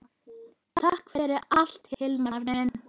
Takk fyrir allt Hilmar minn.